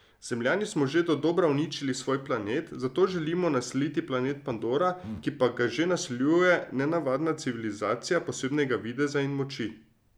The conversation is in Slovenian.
Zemljani smo že dodobra uničili svoj planet, zato želimo naseliti planet Pandora, ki pa ga že naseljuje nenavadna civilizacija posebnega videza in moči.